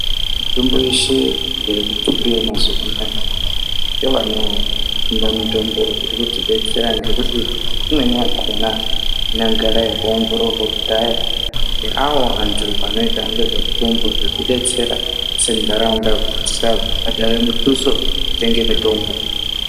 Mitombo yeshe iri kutumbiva mazuva anaya ngevanotumba mitombo irikuti betsera. Ngekuti imweni yakona inogara yakaongororwa kudhaya ngeavo antu anoita ngezvemitombo zveitibetsera sendaraunda kuti tisabhadhara mituso yekutenga mitombo.